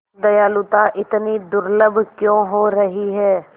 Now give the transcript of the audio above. दयालुता इतनी दुर्लभ क्यों हो रही है